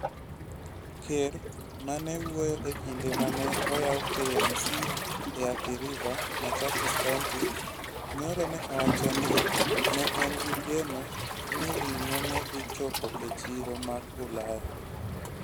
Ker, ma ne wuoyo e kinde ma ne oyaw KMC e Athi River, Machakos County, nyoro, ne owacho ni ne en gi geno ni ring'o ne dhi chopo e chiro mag Ulaya.